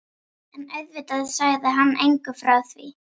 En auðvitað sagði hann engum frá því.